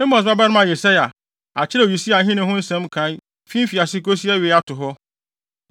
Amos babarima Yesaia akyerɛw Usia ahenni ho nsɛm nkae fi mfiase kosi awiei ato hɔ.